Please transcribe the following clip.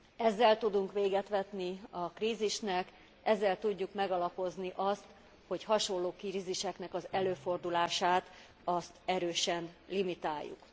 Ezzel tudunk véget vetni a krízisnek, ezzel tudjuk megalapozni azt, hogy hasonló kríziseknek az előfordulását erősen limitáljuk.